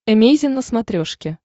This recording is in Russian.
эмейзин на смотрешке